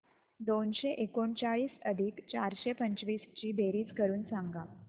दोनशे एकोणचाळीस अधिक चारशे पंचवीस ची बेरीज करून सांगा